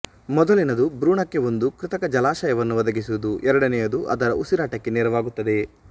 ಮೊದಲಿನದು ಭ್ರೂಣಕ್ಕೆ ಒಂದು ಕೃತಕ ಜಲಾಶಯವನ್ನು ಒದಗಿಸುವುದು ಎರಡನೆಯದು ಅದರ ಉಸಿರಾಟಕ್ಕೆ ನೆರವಾಗುತ್ತದೆ